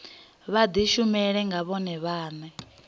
vha dishumele nga vhone vhane